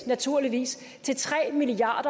naturligvis i til tre milliard